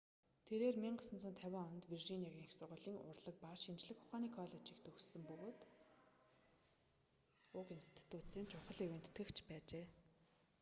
тэрээр 1950 онд виржиниагийн их сургуулийн урлаг ба шинжлэх ухааны коллежийг төгссөн бөгөөд уг институцийн чухал ивээн тэтгэгч байжээ